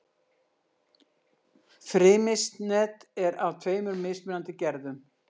Frymisnet er af tveimur mismunandi gerðum.